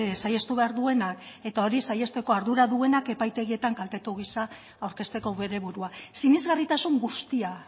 saihestu behar duenak eta hori saihesteko ardura duenak epaitegietan kaltetu giza aurkezteko bere burua sinesgarritasun guztia